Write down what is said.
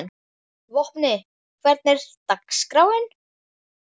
Vopni, hvernig er dagskráin?